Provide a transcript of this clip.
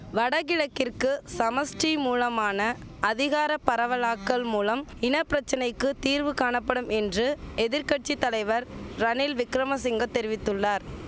வடகிழக்கிற்கு சமஷ்டி மூலமான அதிகார பரவலாக்கல் மூலம் இனபிரச்சனைக்கு தீர்வு காணபடும் என்று எதிர் கட்சி தலைவர் ரணில் விக்கிரம சிங்கத் தெரிவித்துள்ளார்